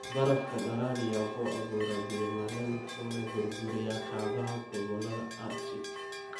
Barafka dhalaaliya wuxuu abuuraa biyo-mareen wuxuuna burburiyaa kaabayaasha gobollada Arctic.